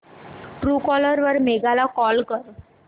Truecaller वर मेघा ला call कर